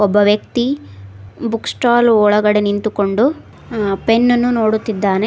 ಒಬ್ಬ ವ್ಯಕ್ತಿ book stall ಒಳಗೆ ನಿಂತುಕೊಂಡು ಪೆನ್ನನ್ನು ನೋಡುತ್ತಿದ್ದಾನೆ.